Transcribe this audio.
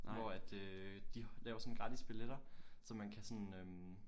Hvor at øh de laver sådan gratis billetter så man kan sådan øh